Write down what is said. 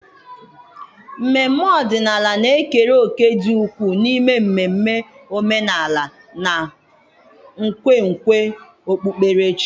mmemme ọdịnala na-ekere òkè dị ukwuu n'ime mmemme omenala na nkwenkwe okpukperechi.